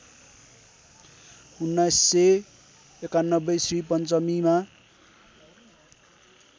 १९९१ Shri पञ्चमीमा